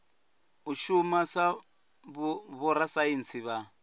u shuma sa vhorasaintsi vha